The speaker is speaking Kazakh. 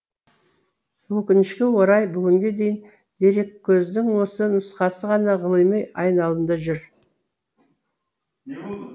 өкінішке орай бүгінге дейін дереккөздің осы нұсқасы ғана ғылыми айналымда жүр